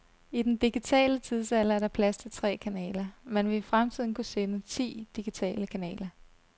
I den digitale tidsalder er der plads til tre kanaler. Man vil i fremtiden kunne sende ti digitale kanaler.